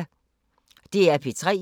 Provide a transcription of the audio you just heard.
DR P3